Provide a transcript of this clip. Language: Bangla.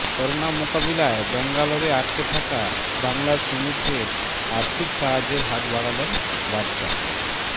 করোনা মোকাবিলায় ব্যাঙ্গালোরে আটকে থাকা বাংলার শ্রমিকদের আর্থিক সাহায্যের হাত বাড়ালেন বাদশা